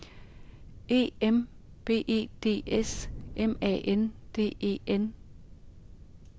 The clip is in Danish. E M B E D S M A N D E N